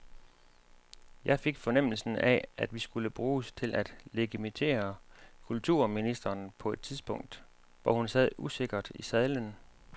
Jeg fik fornemmelsen af, at vi skulle bruges til at legitimere kulturministeren på et tidspunkt, hvor hun sad usikkert i sadlen.